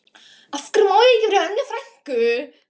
Af hverju má ég ekki vera hjá Önnu frænku?